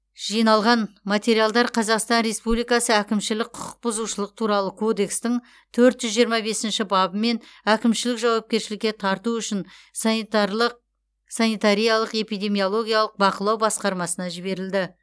жиналған материалдар қазақстан республикасы әкімшілік құқық бұзушылық туралы кодекстің төрт жүз жиырма бесінші бабымен әкімшілік жауапкершілікке тарту үшін санитарлық санитариялық эпидемиологиялық бақылау басқармасына жіберілді